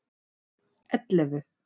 ellefu